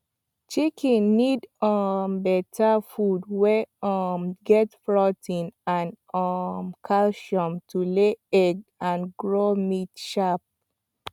chicken need um better feed wey um get protein and um calcium to lay egg and grow meat sharp